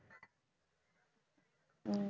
உம்